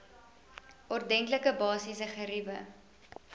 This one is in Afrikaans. ordentlike basiese geriewe